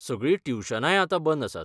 सगळीं ट्युशनांय आतां बंद आसात.